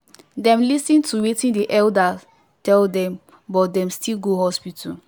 dem lis ten to watin the elder tell them but dem still go hospital